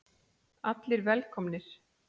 Allir velkomnir.